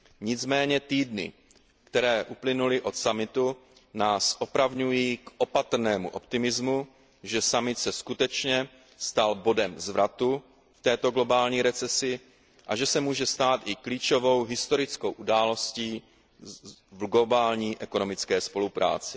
Nicméně týdny, které uplynuly od summitu, nás opravňují k opatrnému optimismu, že summit skutečně byl bodem zvratu v této globální recesi a že se může stát i klíčovou historickou událostí v globální ekonomické spolupráci.